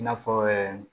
I n'a fɔ